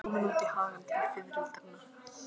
Ég var komin út í hagann til fiðrildanna.